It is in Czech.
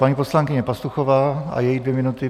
Paní poslankyně Pastuchová a její dvě minuty.